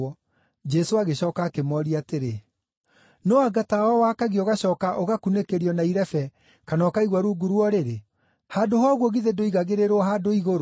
Jesũ agĩcooka akĩmooria atĩrĩ, “No anga tawa wakagio ũgacooka ũgakunĩkĩrio na irebe, kana ũkaigwo rungu rwa ũrĩrĩ? Handũ ha ũguo githĩ ndũigagĩrĩrwo handũ igũrũ?